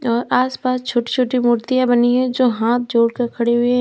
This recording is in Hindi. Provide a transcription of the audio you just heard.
और आसपास छोटी छोटी मूर्तियां बनी हैं जो हाथ जोड़कर खड़ी हुई हैं।